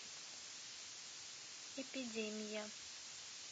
эпидемия